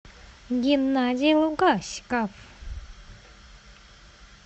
геннадий лугаськов